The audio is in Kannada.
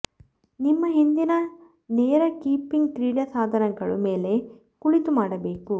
ನಿಮ್ಮ ಹಿಂದಿನ ನೇರ ಕೀಪಿಂಗ್ ಕ್ರೀಡಾ ಸಾಧನಗಳು ಮೇಲೆ ಕುಳಿತು ಮಾಡಬೇಕು